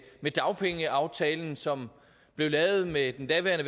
med dagpengeaftalen som blev lavet med den daværende